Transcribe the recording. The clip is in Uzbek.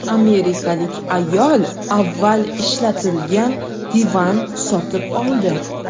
Amerikalik ayol avval ishlatilgan divan sotib oldi.